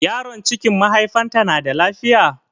Yaron cikin mahaifanta na da lafiya?